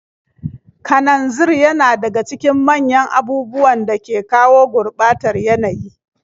Kananzir yana daga cikin manyan abubuwan da ke kawo gurɓatar yanayi.